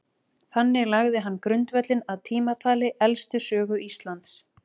Þannig lagði hann grundvöllinn að tímatali elstu sögu Íslands.